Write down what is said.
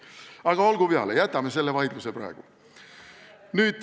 Aga olgu peale, jätame selle vaidluse praegu.